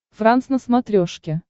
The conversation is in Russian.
франс на смотрешке